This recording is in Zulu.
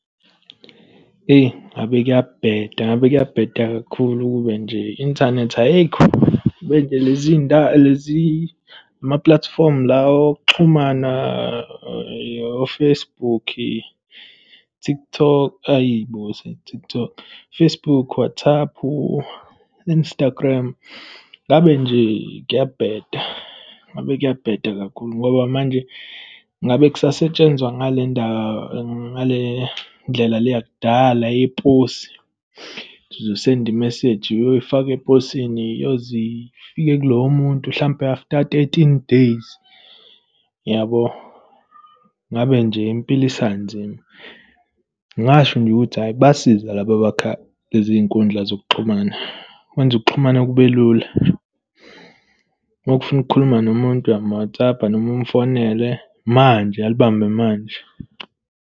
Eyi, ngabe kuyabheda, ngabe kuyabheda kakhulu ukube nje i-inthanethi ayikho. Ngabe nje lezi ndawo, lezi, ama-platform lawa okuxhumana o-Facebook, TikTok, hhayi bo, sengithi TikTok, Facebook, WhatsApp, Instagram, ngabe nje kuyabheda, ngabe kuyabheda kakhulu, ngoba manje ngabe kusasetshenzwa ngale ndaba, ngale ndlela le yakudala yeposi. Sizosenda i-message, iyoyifaka eposini, iyoze ifike kuloyo muntu hlampe after thirteen days, yabo. Ngabe nje impilo isanzima. Ngingasho nje ukuthi hhayi basiza laba abakha lezi nkundla zokuxhumana. Kwenza ukuxhumana kube lula. Uma ufuna ukukhuluma nomuntu, uyam-WhatsApp noma umfonele manje, alibambe manje.